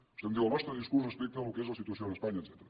vostè em diu el nostre discurs respecte al que és la situació a espanya etcètera